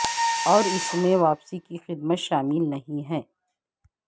اور اس میں واپسی کی قیمت شامل نہیں ہے